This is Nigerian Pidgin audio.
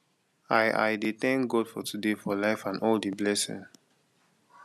i i dey tank god for today for life and all di blessing